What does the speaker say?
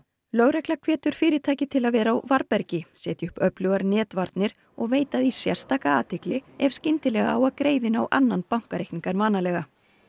lögregla hvetur fyrirtæki til að vera á varðbergi setja upp öflugar netvarnir og veita því sérstaka athygli ef skyndilega á að greiða inn á annan bankareikning en vanalega